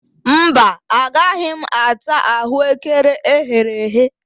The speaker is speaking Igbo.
Mba, agaghị m ata ahụekere eghere eghe